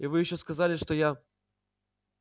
и вы ещё сказали что я